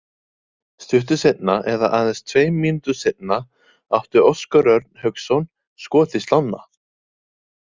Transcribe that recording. Stuttu seinna eða aðeins tveim mínútum seinna átti Óskar Örn Hauksson skot í slánna.